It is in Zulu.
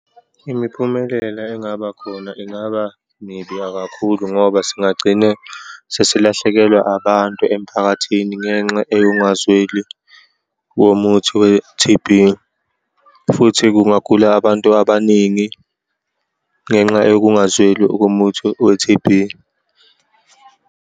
Imiphumelela engaba khona ingaba mibiya kakhulu ngoba singagcine sesilahlekelwa abantu emphakathini ngenxa eyokungazweli womuthi we-T_B, futhi kungagula abantu abaningi ngenxa yokungazweli komuthi we-T_B.